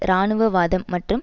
இராணுவ வாதம் மற்றும்